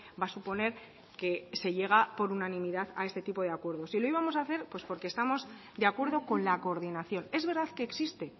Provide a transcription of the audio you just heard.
va a suponer que se llega por unanimidad a este tipo de acuerdo y lo íbamos a hacer pues porque estamos de acuerdo con la coordinación es verdad que existe